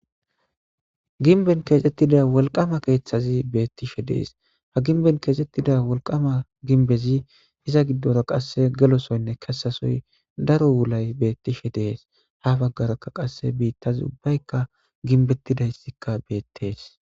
Ginben keexettida wolqama keeththazi beettishe dees ha ginben keexettida wolqama ginbezi iza giddora qasse gelosoynne kesasoy daro wulay beettishe dees ha baggarakka qasse biittazi ubbaykka ginbettidayssikka beettees.